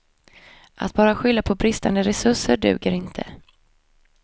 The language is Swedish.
Att bara skylla på bristande resurser duger inte.